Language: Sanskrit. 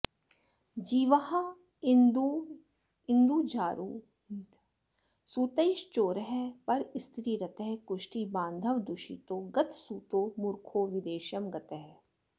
जीवारेन्दुरवीन्दुजारुणसुतैश्चोरः परस्त्रीरतः कुष्ठी बान्धवदूषितो गतसुतो मूर्खो विदेशं गतः